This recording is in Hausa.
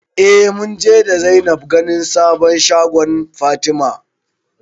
Eh munje da Zainab ganin sabon shagon Fatima